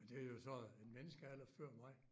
Men det er jo så en menneskealder før mig